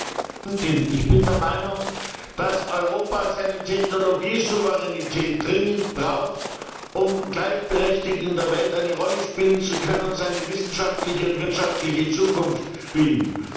Frau Präsidentin! Ich bin der Meinung, dass Europa seine Technologiesouveränität dringend braucht, um gleichberechtigt in der Welt eine Rolle spielen zu können und seine wissenschaftliche und wirtschaftliche Zukunft nicht zu verspielen.